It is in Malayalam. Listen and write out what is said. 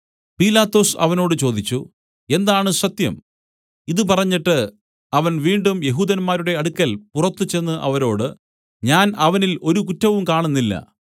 പീലാത്തോസ് അവനോട് ചോദിച്ചു എന്താണ് സത്യം ഇതു പറഞ്ഞിട്ട് അവൻ വീണ്ടും യെഹൂദന്മാരുടെ അടുക്കൽ പുറത്തുചെന്ന് അവരോട് ഞാൻ അവനിൽ ഒരു കുറ്റവും കാണുന്നില്ല